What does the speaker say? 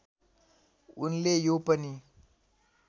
उनले यो पनि